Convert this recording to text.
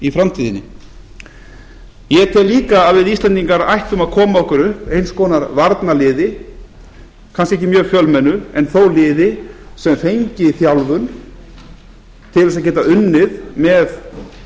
í framtíðinni ég tel líka að við íslendingar ættum að koma okkur upp einhvers konar varnarliði kannski ekki mjög fjölmennu en þó liði sem fengi þjálfun til að geta unnið með